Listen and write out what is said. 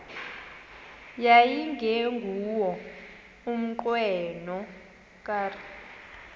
yayingenguwo umnqweno kadr